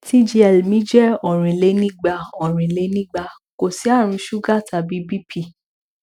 tgl mi jẹ orinlenigba orinlenigba kò sí àrùn suga tàbí bp